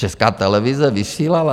Česká televize vysílala?